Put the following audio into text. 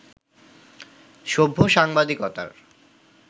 সভ্য-সাংবাদিকতার